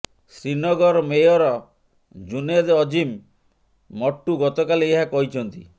Srinagar mayor Junaid Azim Mattu ଗତକାଲି ଏହା କହିଛନ୍ତି